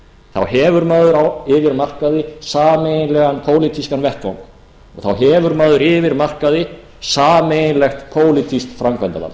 þá hefur maður yfir markaði sameiginlegan pólitískan vettvang og þá hefur maður yfir markaði sameiginlegt pólitískt framkvæmdarvald